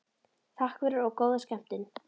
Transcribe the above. Takk fyrir og góða skemmtun.